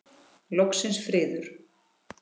Loksins friður!